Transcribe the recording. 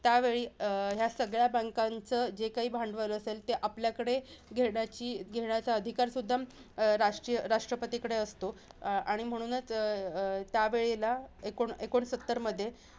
त्यावेळी ह्या सगळ्या banks चा जे काही भांडवल असेल, ते आपल्याकडे घेण्याची घेण्याचा अधिकार सुद्धा राष्ट्रीय राष्ट्रपतीकडे असतो. आणि म्हणूनच अं अं त्यावेळेला एकोण एकोणसत्तर मध्ये